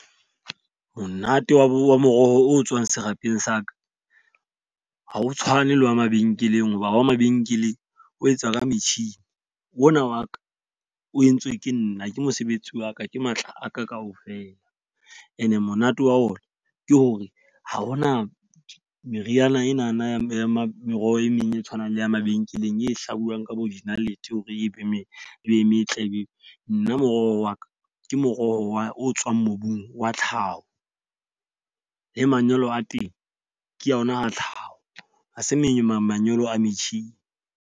Monate wa moroho o tswang serapeng sa ka. Ha o tshwane le wa mabenkeleng hoba wa mabenkeleng o etsa ka metjhini. O na wa ka o entswe ke nna, ke mosebetsi wa ka, ke matla a ka ka ofela. E ne monate wa ona ke hore ha hona meriana enana ya meroho e meng e tshwanang le ya mabenkeleng e hlabuwang ka bo dinalete hore e be e meng e be metle. Ebile nna moroho wa ka ke moroho wa o tswang mobung wa tlhaho, le manyolo a teng ke yona a tlhaho. Ha se memang manyolo a metjhini.